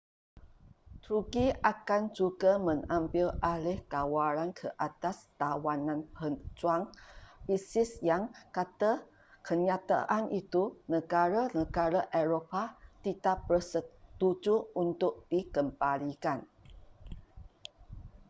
turki akan juga mengambil alih kawalan ke atas tawanan pejuang isis yang kata kenyataan itu negara-negara eropah tidak bersetuju untuk dikembalikan